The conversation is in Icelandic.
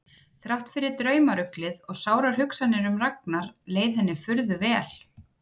Þrátt fyrir draumaruglið og sárar hugsanir um Ragnar leið henni furðu vel.